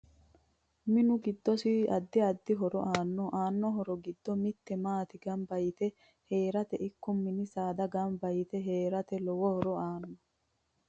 MiMu giddosi addi addi horo aano aano horo giddo mitte maate ganba yite heerate ikko mini saada ganba yite heerate lowo horo aano